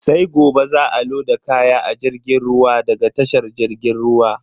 Sai gobe za a loda kaya a jirgin ruwa daga tashar jirgin ruwa.